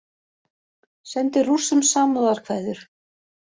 Sendi Rússum samúðarkveðjur